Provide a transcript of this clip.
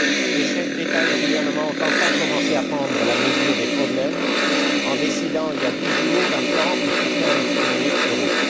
Les chefs d'État et de gouvernement ont enfin commencé à prendre la mesure des problèmes en décidant, il y a dix jours, d'un plan de soutien à notre monnaie, l'euro.